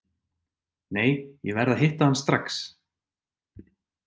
Nei, ég verð að hitta hann strax.